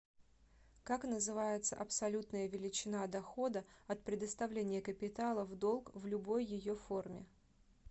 как называется абсолютная величина дохода от предоставления капитала в долг в любой ее форме